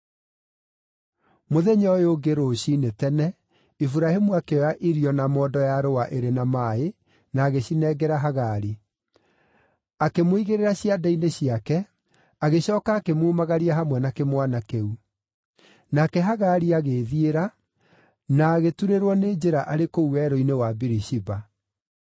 Mũthenya ũyũ ũngĩ rũciinĩ tene Iburahĩmu akĩoya irio na mondo ya rũũa ĩrĩ na maaĩ, na agĩcinengera Hagari. Akĩmũigĩrĩra ciande-inĩ ciake, agĩcooka akĩmumagaria hamwe na kĩmwana kĩu. Nake Hagari agĩĩthiĩra, na agĩturĩrwo nĩ njĩra arĩ kũu werũ-inĩ wa Birishiba.